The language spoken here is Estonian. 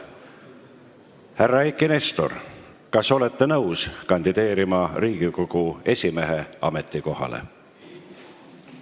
Härra Eiki Nestor, kas olete nõus kandideerima Riigikogu esimehe ametikohale?